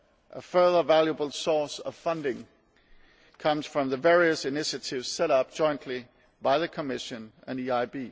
A further valuable source of funding comes from the various initiatives set up jointly by the Commission and the EIB.